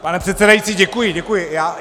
Pane předsedající, děkuji, děkuji.